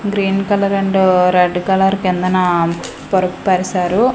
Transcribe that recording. Green colour and red colour కిందన పరుపు పరిసారు.